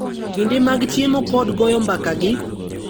Kinde mag chiemo kod goyo mbaka gi